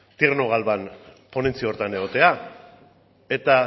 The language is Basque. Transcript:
tierno galván ponentzia horretan egotea eta